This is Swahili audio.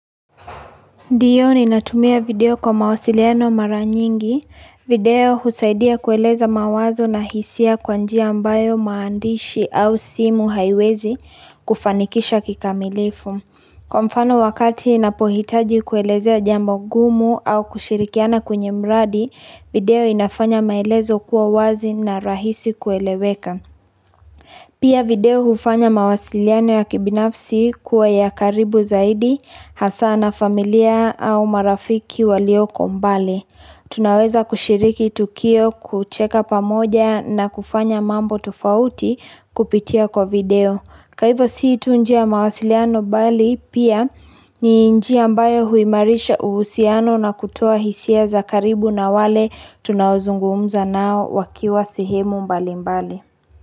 Ndiyo ninatumia video kwa mawasiliano mara nyingi, video husaidia kueleza mawazo na hisia kwa njia ambayo maandishi au simu haiwezi kufanikisha kikamilifu. Kwa mfano wakati napohitaji kuelezea jambo gumu au kushirikiana kwenye mradi, video inafanya maelezo kuwa wazi na rahisi kueleweka. Pia video hufanya mawasiliano ya kibinafsi kuwa ya karibu zaidi, hasa na familia au marafiki walioko mbali. Tunaweza kushiriki tukio kucheka pamoja na kufanya mambo tufauti kupitia kwa video. Kwaivo sii tu njia mawasiliano bali pia ni njia ambayo huimarisha uhusiano na kutoa hisia za karibu na wale tunaozungumza nao wakiwa sehemu mbali mbali.